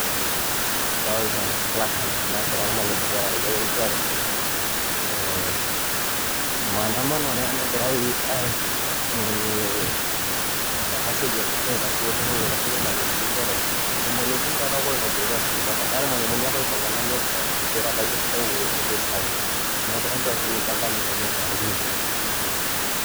Adolta pluck cards naagira iramalimuni tene wueji njere, ee maandamano taa ena egirai aimunye ena siai e KUPPET ashu olturrur laitasheki irmalimuni njere irmalimuni taa taake loitibirutua sininje ntai naa irmalimuni apa loiteng'ena iyiok pookin piitabaitie sintai enitii saai, neeku enjoo sininje enkanyit nanarikino.